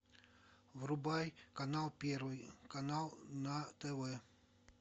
врубай канал первый канал на тв